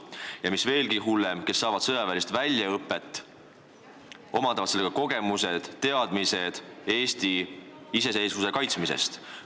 Ja mis veelgi hullem: nad saavad sõjaväelist väljaõpet ja omandavad sellega kogemused-teadmised Eesti iseseisvuse kaitsmisest.